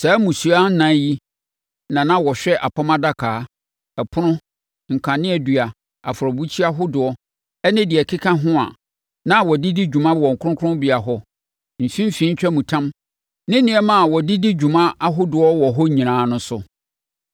Saa mmusua ɛnan yi na na wɔhwɛ apam adaka, ɛpono, kaneadua, afɔrebukyia hodoɔ, ne deɛ ɛkeka ho a na wɔde di dwuma wɔ kronkronbea hɔ, mfimfini ntwamutam ne nneɛma a wɔde di dwuma ahodoɔ wɔ hɔ nyinaa no so.